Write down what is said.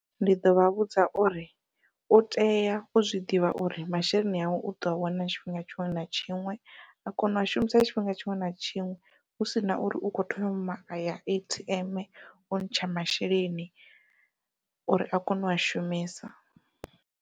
Ndi ḓovha vhudza uri u tea u zwiḓivha uri masheleni awe u ḓo a wana tshifhinga tshiṅwe na tshiṅwe, a kona ua shumisa tshifhinga tshiṅwe na tshiṅwe hu sina uri u kho thoma aya A_T_M u ntsha masheleni uri a kone ua shumisa.